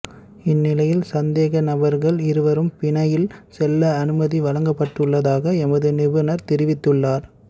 இந்நிலையில் சந்தேக நபர்கள் இருவரும் பிணையில் செல்ல அனுமதி வழங்கப்பட்டுள்ளதாக எமது நிருபர் தெரிவித்துள்ளார்